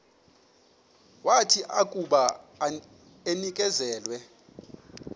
wathi akuba enikezelwe